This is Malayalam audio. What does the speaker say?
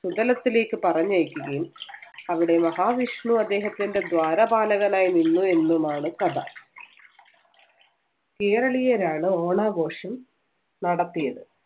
സുതലത്തിലേക്ക് പറഞ്ഞയക്കുകയും അവിടെ മഹാവിഷ്ണു അദ്ദേഹത്തിന്‍റെ ദ്വാരപാലകനായി നിന്നു എന്നുമാണ് കഥ. കേരളീയരാണ് ഓണാഘോഷം നടത്തിയത്.